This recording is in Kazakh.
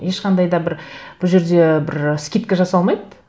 ешқандай да бір бұл жерде бір скидка жасалмайды